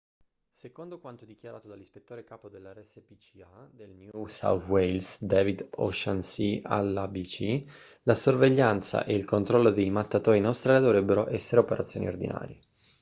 secondo quanto dichiarato dall'ispettore capo della rspca del new south wales david o'shannessy all'abc la sorveglianza e il controllo dei mattatoi in australia dovrebbero essere operazioni ordinarie